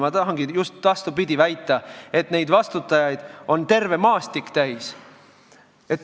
Ma tahangi väita just vastupidist, et neid vastutajaid on terve maastik täis.